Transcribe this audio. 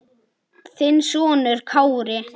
Þinn sonur Kári.